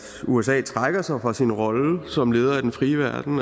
usa trækker sig fra sin rolle som leder af den frie verden